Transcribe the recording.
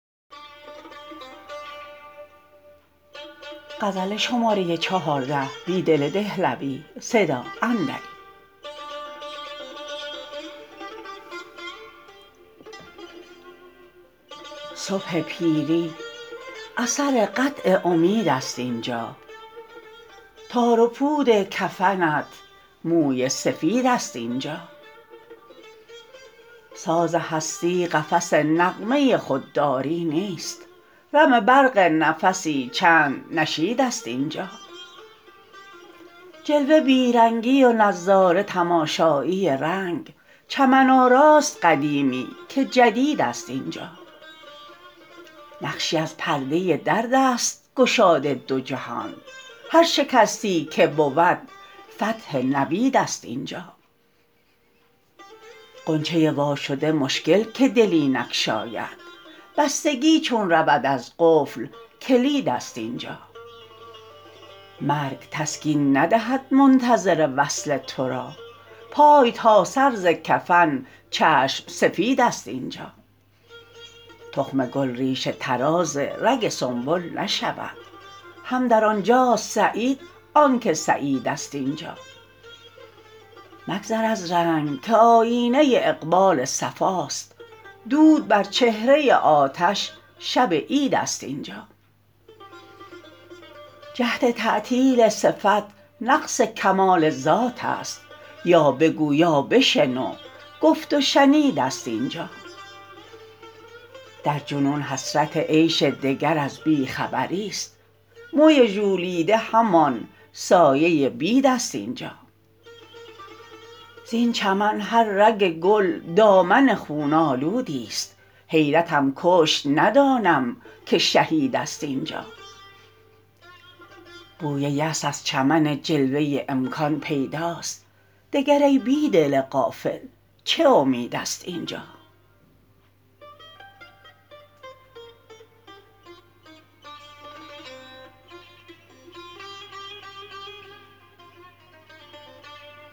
صبح پیری اثر قطع امید است اینجا تار و پود کفنت موی سفید است اینجا ساز هستی قفس نغمه خودداری نیست رم برق نفسی چند نشید است اینجا جلوه بیرنگی و نظاره تماشایی رنگ چمن آراست قدیمی که جدید است اینجا نقشی از پرده درد ا ست گشاد دو جهان هر شکستی که بود فتح نوید است اینجا غنچه وا شده مشکل که دلی نگشاید بستگی چون رود از قفل کلید است اینجا مرگ تسکین ندهد منتظر وصل تو را پای تا سر ز کفن چشم سفید است اینجا تخم گل ریشه طراز رگ سنبل نشود هم در آنجاست سعید آنکه سعید است اینجا مگذر از رنگ که آیینه اقبال صفاست دود بر چهره آتش شب عید است اینجا جهد تعطیل صفت نقص کمال ذاتست یا بگو یا بشنو گفت و شنید است اینجا در جنون حسرت عیش دگر از بی خبری ست موی ژولیده همان سایه بید است اینجا زین چمن هر رگ گل دامن خون آلودی ست حیرتم کشت ندانم که شهید است اینجا بوی یأس از چمن جلوه امکان پیداست دگر ای بیدل غافل چه امید است اینجا